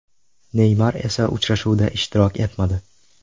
Neymar esa uchrashuvda ishtirok etmadi.